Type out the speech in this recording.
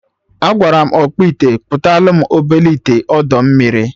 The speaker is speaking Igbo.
Agwara m ọkpụite kpụtalụ m obele ite ọdọ mmiri